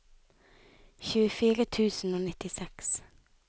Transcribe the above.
tjuefire tusen og nittiseks